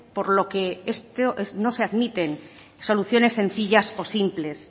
por lo que no se admiten soluciones sencillas o simples